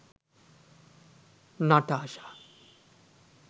natasha